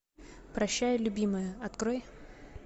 прощай любимая открой